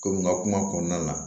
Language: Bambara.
Komi n ka kuma kɔnɔna na